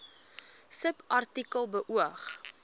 subartikel beoog